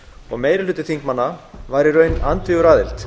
og meiri hluti þingmanna var í raun andvígur aðild